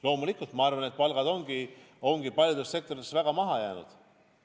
Loomulikult ma arvan, et palgad ongi paljudes sektorites väga maha jäänud.